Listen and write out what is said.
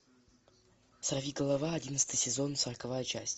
сорвиголова одиннадцатый сезон сороковая часть